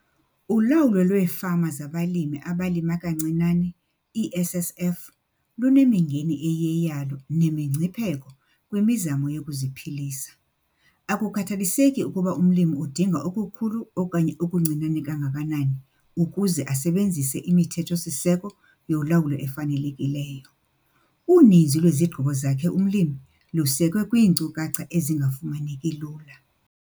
ULAWULO LWEEFAMA ZABALIMI ABALIMA KANCINANE, iiSSF, LUNEMINGENI EYIYEYALO NEMINGCIPHEKO KWIMIZAMO YOKUZIPHILISA. AKUKHATHALISEKI UKUBA UMLIMI UDINGA OKUKHULU OKANYE OKUNCINANE KANGAKANANI UKUZE ASEBENZISE IMITHETHO-SISEKO YOLAWULO EFANELEKILEYO. UNINZI LWEZIGQIBO ZAKHE UMLIMI LUSEKWE KWIINKCUKACHA EZINGAFUMANEKI LULA.